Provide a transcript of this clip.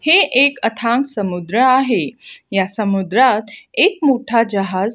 हे एक अथांग समुद्र आहे या समुद्रात एक मोठा जहाज--